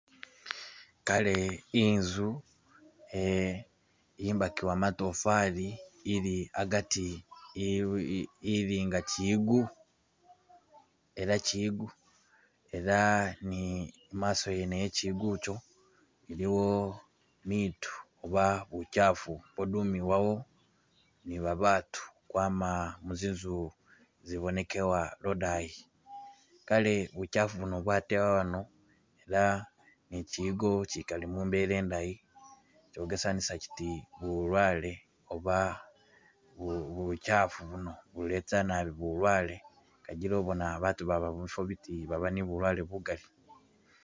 Kaale inzu, eh imbakibwa matofaali ili agaati iri ili nga chiyigo ela chiyigo ela ne imaaso yene ye chiyigo icho iliwo biitu oba buchaafu ubwodumiwa awo ni babaatu ukwama ku zinzu zibonekebwa lwo'dani , kaale buchafu buno bwatebwa wano ela ne chiyigo ichikali mumbela indayi ,, chogesanisa chiti bulwale oba buchaafu buno buleta naabj bulwalwe kajila obona abaatu ababa mubifa biti baaba ne bulwale bugaali.